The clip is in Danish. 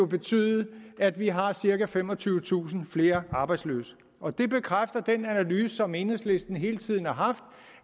betyde at vi har cirka femogtyvetusind flere arbejdsløse og det bekræfter den analyse som enhedslisten hele tiden har haft